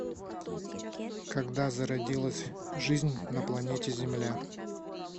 когда зародилась жизнь на планете земля